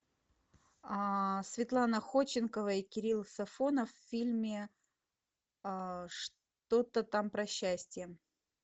светлана ходченкова и кирилл сафонов в фильме что то там про счастье